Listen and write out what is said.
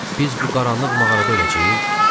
Biz bu qaranlıq mağarada öləcəyik?